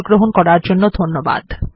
যোগ দেওয়ার জন্য ধন্যবাদ